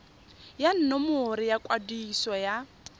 ya nomoro ya kwadiso ya